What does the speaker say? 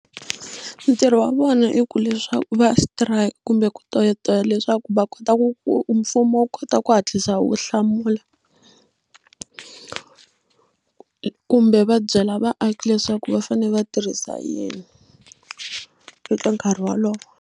Ntirho wa vona i ku leswaku va strike kumbe ku toyitoya leswaku va kota mfumo wu kota ku hatlisa wu hlamula kumbe va byela vaaki leswaku va fanele va tirhisa yini eka nkarhi wolowo.